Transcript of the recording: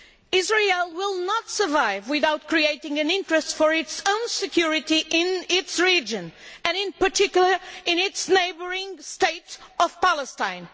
Israel will not survive without creating an interest for its own security in its region and, in particular, in its neighbouring state of Palestine.